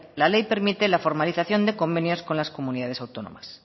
la ley permite la formalización de convenios con las comunidades autónomas